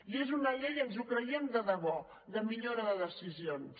i és una llei ens ho creiem de debò de millora de decisions